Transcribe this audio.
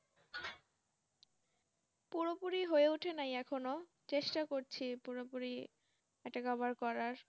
পুরোপুরি হয়ে ওঠে নাই এখনো চেষ্টা করছি পুরোপুরি এটা Cover করার